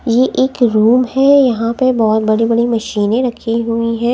ये एक रूम है यहां पे बहुत बड़ी-बड़ी मशीनें रखी हुई है।